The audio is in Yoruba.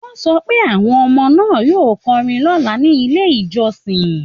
Wọ́n sọ pé àwọn ọmọ náà yóò kọrin lọ́la ní ilé ìjọsìn